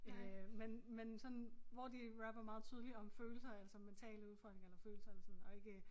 Øh men men sådan hvor de rapper meget tydeligt om følelser altså mentale udfordringer eller følelser alt sådan og ikke